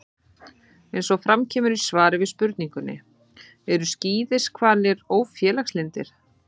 Eins og fram kemur í svari við spurningunni: Eru skíðishvalir ófélagslyndir?